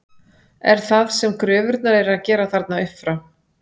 Er það sem gröfurnar eru að gera þarna upp frá?